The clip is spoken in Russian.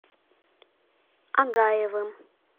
агаевым